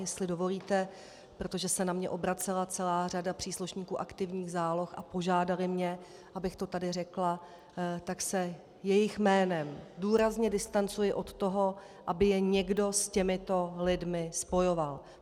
Jestli dovolíte, protože se na mě obracela celá řada příslušníků aktivních záloh a požádali mě, abych to tady řekla, tak se jejich jménem důrazně distancuji od toho, aby je někdo s těmito lidmi spojoval.